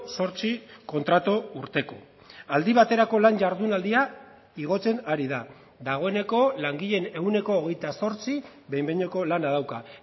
zortzi kontratu urteko aldi baterako lan jardunaldia igotzen ari da dagoeneko langileen ehuneko hogeita zortzi behin behineko lana dauka